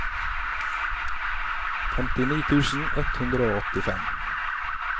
femtini tusen ett hundre og åttifem